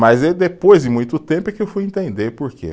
Mas é depois de muito tempo é que eu fui entender porquê.